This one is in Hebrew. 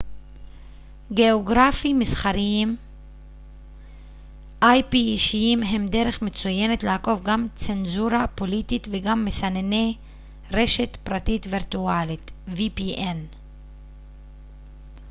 ספקי vpn רשת פרטית וירטואלית אישיים הם דרך מצוינת לעקוף גם צנזורה פוליטית וגם מסנני ip גאוגרפי מסחריים